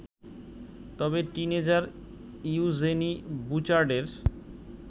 তবে 'teenager' Eugenie বুচার্ডের